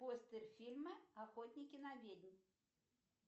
постер фильма охотники на ведьм